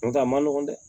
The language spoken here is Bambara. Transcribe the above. Nga a ma nɔgɔn dɛ